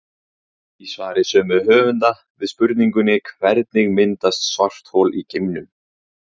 Í svari sömu höfunda við spurningunni Hvernig myndast svarthol í geimnum?